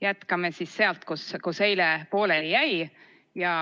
Jätkame siis sealt, kus eile pooleli jäi.